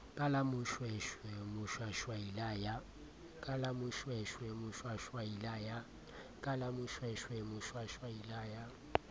ka la moshweshwe moshwashwaila ya